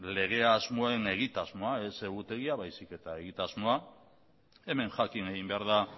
lege asmoen egitasmoa ez egutegia baizik eta egitasmoa hemen jakin egin behar da